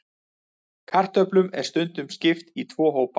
Kartöflum er stundum skipt í tvo hópa.